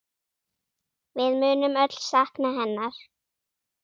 Við munum öll sakna hennar.